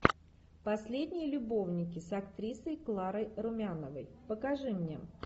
последние любовники с актрисой кларой румяновой покажи мне